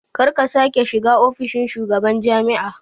Karka sake shiga ofishin shugaban jami'a